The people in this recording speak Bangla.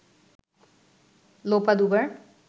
লোপা দুবার